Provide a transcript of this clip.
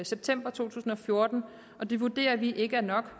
september to tusind og fjorten og det vurderer vi ikke er nok